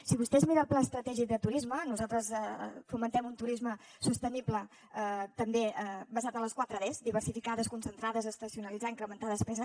si vostè es mira el pla estratègic de turisme nosaltres fomentem un turisme sostenible també basat en les quatre des diversificar desconcentrar desestacionalitzar i incrementar despesa